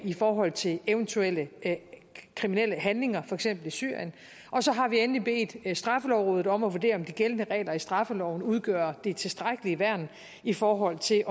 i forhold til eventuelle kriminelle handlinger for eksempel i syrien så har vi endelig bedt straffelovrådet om at vurdere om de gældende regler i straffeloven udgør det tilstrækkelige værn i forhold til